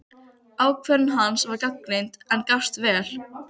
Ákvörðun hans var gagnrýnd, en gafst vel.